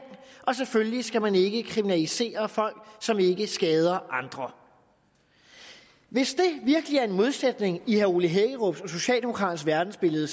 og selvfølgelig skal man ikke kriminalisere folk som ikke skader andre hvis det virkelig er en modsætning i herre ole hækkerups og socialdemokraternes verdensbillede